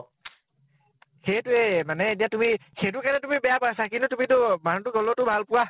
সেইটো ৱে মানে । এতিয়া তুমি সেইটোকে তো তুমি বেয়া পাইছা কিন্তু তুমি তো মানুহ তোক হʼলৈ তো ভাল পোৱা ?